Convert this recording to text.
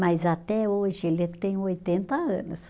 Mas até hoje ele tem oitenta anos.